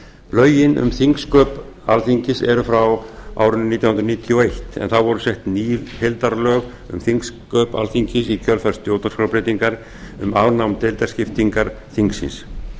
lögin um þingsköp alþingis eru frá árinu nítján hundruð níutíu og eitt en þá voru sett ný heildarlög um þingsköp alþingis í kjölfar stjórnarskrárbreytingar um afnám deildaskiptingar þingsins